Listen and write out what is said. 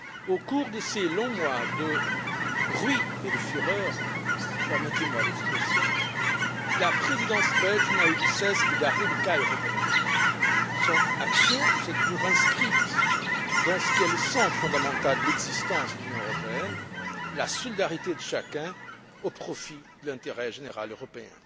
Au cours de ces longs mois de bruit et de fureur permettez moi l'expression la Présidence belge n'a eu de cesse de garder le cap européen. Son action s'est toujours inscrite dans le sens fondamental de l'existence de l'Union européenne, la solidarité de chacun au profit de l'intérêt général européen.